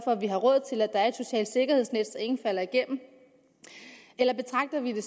at vi har råd til at der er et socialt sikkerhedsnet så ingen falder igennem eller betragter vi det